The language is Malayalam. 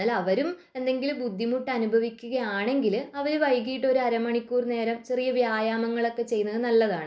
പക്ഷെ അവരും എന്തെങ്കിലും ബുദ്ധിമുട്ട് അനുഭവിക്കുകയാണെങ്കിൽ അവരും വൈകിട്ട് അരമണിക്കൂർ നേരം വ്യായാമം ഒക്കെ ചെയ്യുന്നത് നല്ലതാണു